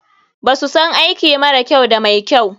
BAsu san aiki mara kyau da mai kyau.